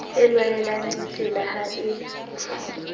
e lwanelang ditsela ha e